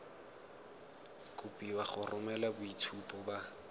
kopiwa go romela boitshupo ba